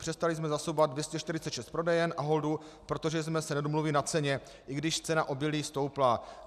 Přestali jsme zásobovat 246 prodejen Aholdu, protože jsme se nedomluvili na ceně, i když cena obilí stoupla.